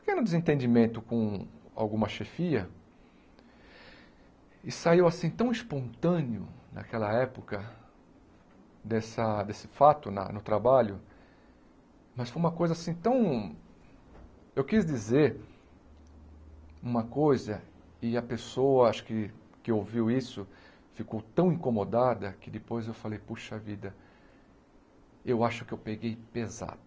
porque era um desentendimento com alguma chefia, e saiu assim tão espontâneo naquela época dessa desse fato no trabalho, mas foi uma coisa assim tão... Eu quis dizer uma coisa e a pessoa acho que que ouviu isso ficou tão incomodada que depois eu falei, poxa vida, eu acho que eu peguei pesado.